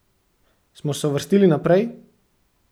Smo se uvrstili naprej?